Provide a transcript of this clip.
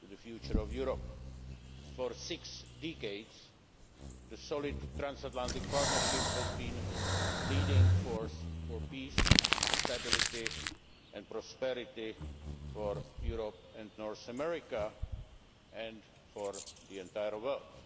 to the future of Europe. For six decades, the solid transatlantic partnership has been the leading force for peace, stability and prosperity for Europe and North America, and for the entire world.